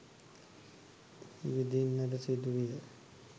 විඳින්නට සිදු විය.